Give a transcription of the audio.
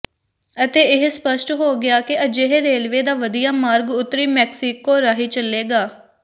ਅਤੇ ਇਹ ਸਪੱਸ਼ਟ ਹੋ ਗਿਆ ਕਿ ਅਜਿਹੇ ਰੇਲਵੇ ਦਾ ਵਧੀਆ ਮਾਰਗ ਉੱਤਰੀ ਮੈਕਸੀਕੋ ਰਾਹੀਂ ਚਲੇਗਾ